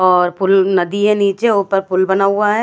और पुल नदी है नीचे ऊपर पुल बना हुआ है--